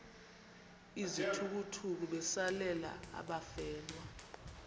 izithukuthuku besalela abafelwa